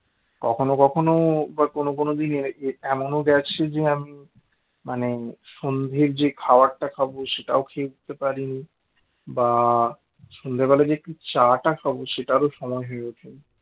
কখনো কখনো বা কোন কোন দিন এমনও গেছে যে আমি মানে সন্ধের যে খাবারটা খাবো সেটাও খেয়ে উঠতে পারিনি বা সন্ধ্যেবেলায় যে চা টা খাব সেটারও সময় হয়ে ওঠেনি